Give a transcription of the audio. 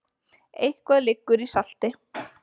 Eitthvað liggur í salti